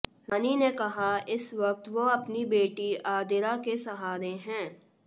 रानी ने कहा इस वक्त वो अपनी बेटी आदिरा के सहारे हैं